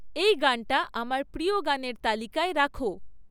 এই গানটা আমার প্রিয় গানের তালিকায় রাখো